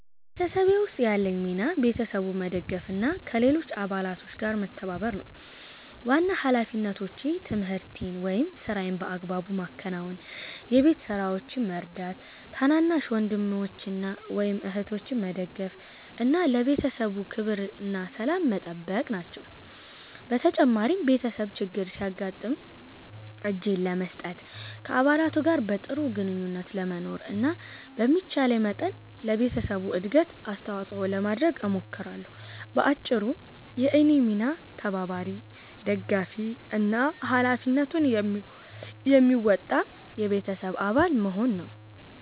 በቤተሰቤ ውስጥ ያለኝ ሚና ቤተሰቡን መደገፍ እና ከሌሎች አባላት ጋር መተባበር ነው። ዋና ሃላፊነቶቼ ትምህርቴን ወይም ሥራዬን በአግባቡ ማከናወን፣ የቤት ስራዎችን መርዳት፣ ታናናሽ ወንድሞችን ወይም እህቶችን መደገፍ እና ለቤተሰቡ ክብርና ሰላም መጠበቅ ናቸው። በተጨማሪም ቤተሰብ ችግር ሲያጋጥም እጄን ለመስጠት፣ ከአባላቱ ጋር በጥሩ ግንኙነት ለመኖር እና በሚቻለኝ መጠን ለቤተሰቡ እድገት አስተዋጽኦ ለማድረግ እሞክራለሁ። በአጭሩ፣ የእኔ ሚና ተባባሪ፣ ደጋፊ እና ሃላፊነቱን የሚወጣ የቤተሰብ አባል መሆን ነው።